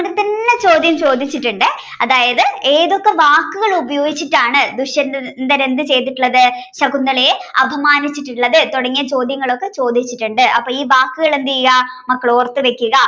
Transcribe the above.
ചോദ്യം ചോദിച്ചിട്ടുണ്ടേ അതായത് ഏതൊക്കെ വാക്കുകൾ ഉപയോഗിച്ചിട്ടാണ് ദുഷ്യന്തൻദുഷ്യന്തരൻ എന്ത് ചെയ്തിട്ടുള്ളത് ശകുന്തളയെ അപമാനിച്ചിട്ടുള്ളത് തുടങ്ങിയ ചോദ്യങ്ങളൊക്കെ ചോദിച്ചിട്ടുണ്ട് അപ്പൊ ഈ വാക്കുകൾ എന്തെയ്യാ മക്കളോർത്ത് വെക്കുക